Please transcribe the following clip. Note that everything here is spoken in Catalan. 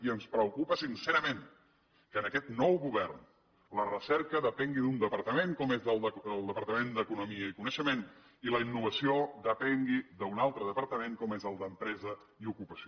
i ens preocupa sincerament que en aquest nou govern la recerca depengui d’un departament com és el departament d’economia i coneixement i la innovació depengui d’un altre departament com és el d’empresa i ocupació